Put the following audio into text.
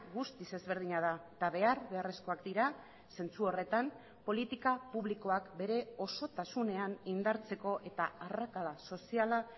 guztiz ezberdina da eta behar beharrezkoak dira zentzu horretan politika publikoak bere osotasunean indartzeko eta arrakala soziala